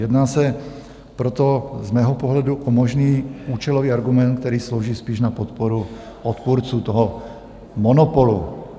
Jedná se proto z mého pohledu o možný účelový argument, který slouží spíš na podporu odpůrců toho monopolu.